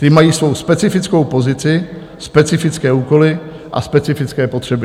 Ty mají svou specifickou pozici, specifické úkoly a specifické potřeby.